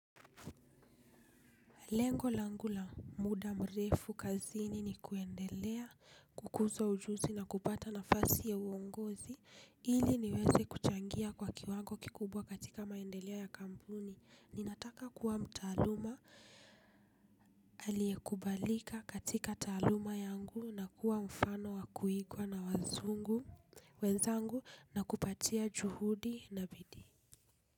Lengo langu la muda mrefu kazini ni kuendelea, kukuza ujuzi na kupata nafasi ya uongozi, ili niweze kuchangia kwa kiwango kikubwa katika maendeleo ya kampuni. Ninataka kuwa mtaaluma aliyekubalika katika taaluma yangu na kuwa mfano wa kuigwa na wazungu wenzangu na kupatia juhudi na bidii.